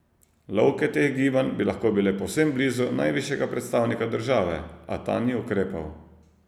Lovke teh gibanj bi lahko bile povsem blizu najvišjega predstavnika države, a ta ni ukrepal.